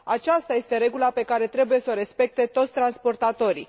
Aceasta este regula pe care trebuie să o respecte toți transportatorii.